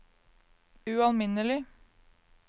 ualminnelig